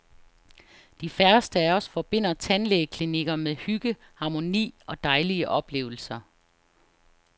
De færreste af os forbinder tandlægeklinikker med hygge, harmoni og dejlige oplevelser.